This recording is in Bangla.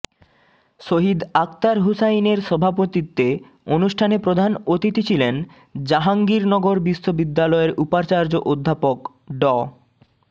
সহিদ আকতার হুসাইনের সভাপতিত্বে অনুষ্ঠানে প্রধান অতিথি ছিলেন জাহাঙ্গীরনগর বিশ্ববিদ্যালয়ের উপাচার্য অধ্যাপক ড